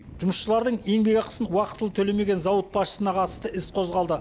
жұмысшылардың еңбекақысын уақытылы төлемеген зауыт басшысына қатысты іс қозғалды